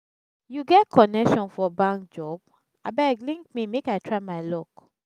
you get connection for bank job? abeg link me make i try my luck.